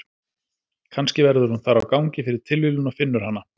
Kannski verður hún þar á gangi fyrir tilviljun og finnur hana.